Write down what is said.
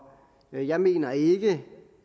og jeg mener ikke